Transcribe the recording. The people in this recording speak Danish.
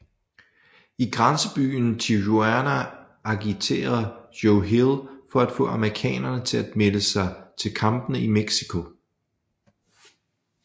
I grænsebyen Tijuana agiterer Joe Hill for at få amerikanere til at melde sig til kampene i Mexico